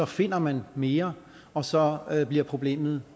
finder man mere og så bliver problemet